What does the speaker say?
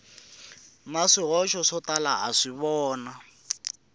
na swihoxo swo tala naswona